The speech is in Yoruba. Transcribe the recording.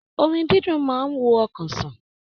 Orin didun máa n wo ọkàn sàn.